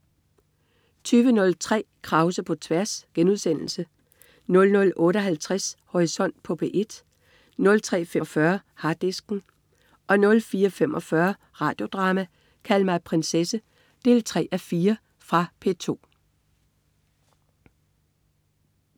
20.03 Krause på tværs* 00.58 Horisont på P1* 03.45 Harddisken* 04.45 Radio Drama: Kald mig prinsesse 3:4. Fra P2